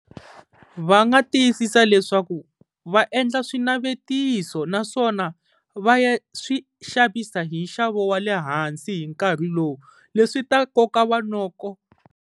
Va nga tiyisisa leswaku va endla swinavetiso, naswona va ya swi xavisa hi nxavo wa le hansi hi nkarhi lowu leswi ta nkoka va noko.